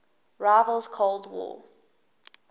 rival's cold war